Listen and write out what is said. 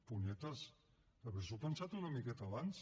punyetes haver s’ho pensat una miqueta abans